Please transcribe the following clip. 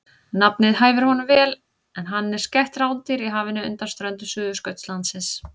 Nafnið hæfir honum vel en hann er skætt rándýr í hafinu undan ströndum Suðurskautslandsins.